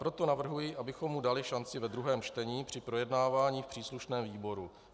Proto navrhuji, abychom mu dali šanci ve druhém čtení při projednávání v příslušném výboru.